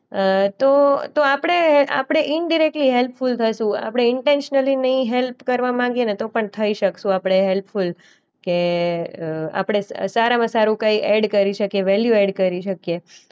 અ તો તો આપણે આપણે ઈન્ડિરેક્ટલી હેલ્પફૂલ થશું. આપણે ઈન્ટેન્શયલી નઈ હેલ્પ કરવા માંગ્યે ને તો પણ થઈ શકશું આપણે હેલ્પફૂલ કે અ આપણે સ સારામાં સારું કંઈ એડ કરી શકીએ. વૅલ્યુ એડ કરી શકીએ.